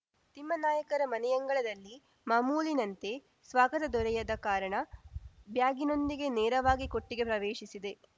ತಿಮ್ಮನಾಯಕರ ಮನೆಯಂಗಳದಲ್ಲಿ ಮಾಮೂಲಿನಂತೆ ಸ್ವಾಗತ ದೊರೆಯದ ಕಾರಣ ಬ್ಯಾಗಿನೊಂದಿಗೆ ನೇರವಾಗಿ ಕೊಟ್ಟಿಗೆ ಪ್ರವೇಶಿಸಿದೆ